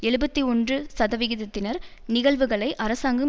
எழுபத்தி ஒன்று சதவிகிதத்தினர் நிகழ்வுகளை அரசாங்கம்